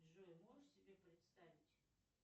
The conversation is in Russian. джой можешь себе представить